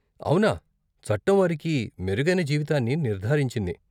అవునా! చట్టం వారికి మెరుగైన జీవితాన్ని నిర్ధారించింది.